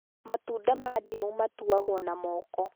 Matunda ma ndimũ matuagwo na moko